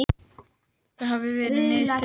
Það hafi verið niðurstöður lyfjaprófs